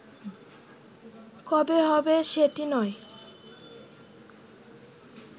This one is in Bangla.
কবে হবে সেটি নয়